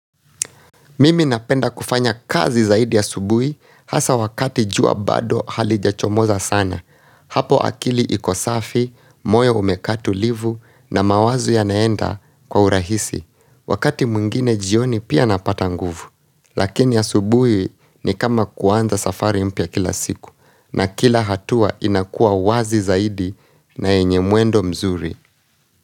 Mimi napenda kufanya kazi zaidi ya asubuhi hasa wakati jua bado halijachomoza sana hapo akili iko safi, moyo umekaa tulivu na mawazo yanaenda kwa urahisi wakati mwingine jioni pia napata nguvu lakini ya asubuhi ni kama kuwanza safari mpya kila siku na kila hatua inakua wazi zaidi na yenye mwendo mzuri.